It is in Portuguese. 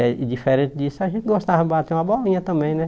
É e diferente disso, a gente gostava de bater uma bolinha também, né?